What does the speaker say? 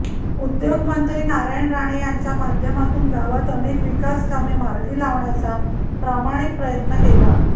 उद्योगमंत्री नारायण राणे यांच्या माध्यमातून गावात अनेक विकासकामे मार्गी लावण्याचा प्रामाणिक प्रयत्न केला